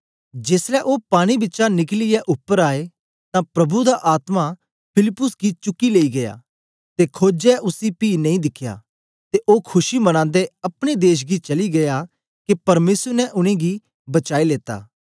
जेसलै ओ पानी बिचा निकलियै उपर आए तां प्रभु दा आत्मा फिलिप्पुस गी चुकी लेई गीया ते खोजे उसी पी नेई दिखया ते ओ खुशी मनांदे अपने देश चली गीया के परमेसर ने उनेंगी बचाई लेता